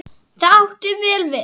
Það átti vel við.